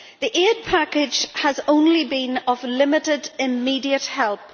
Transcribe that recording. The aid package has only been of limited immediate help.